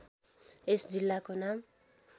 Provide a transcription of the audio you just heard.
यस जिल्लाको नाम